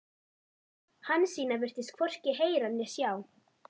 Hansína virtist hvorki heyra né sjá.